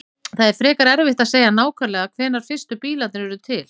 Það er frekar erfitt að segja nákvæmlega hvenær fyrstu bílarnir urðu til.